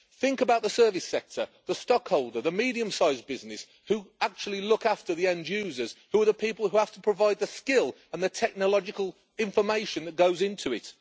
Think about the service sector, the stock holder, the medium sized business who actually look after the end users, who are the people who have to provide the skill and the technological information that goes into it.